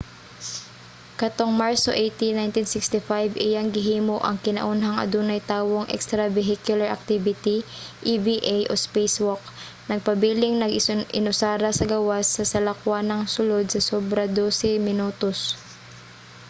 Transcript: katong marso 18 1965 iyang gihimo ang kinaunhang adunay tawong extravehicular activity eva o spacewalk nagpabiling nag-inusara sa gawas sa salakwanang sulod sa sobra dose minutos